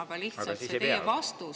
Aga siis ei pea ju!